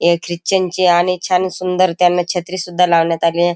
हे ख्रिचन चे आणि छान सुंदर त्याना छत्री सुद्धा लावण्यात आली.